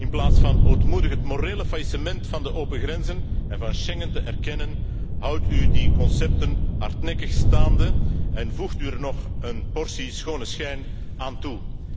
In plaats van ootmoedig het morele faillissement van de open grenzen en van Schengen te erkennen, houdt u die concepten hardnekkig staande en voegt u er nog een portie schone schijn aan toe.